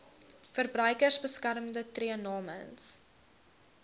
verbruikersbeskermer tree namens